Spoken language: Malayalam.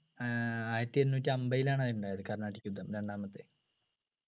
ആഹ് ആയിരത്തി എണ്ണൂറ്റി അമ്പതിലാണ് അത് ഉണ്ടായത് കർണാടിക് യുദ്ധം രണ്ടാമത്തെ